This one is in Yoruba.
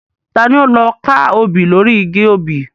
Ta ni ó lọ ka obì lóri igi obì?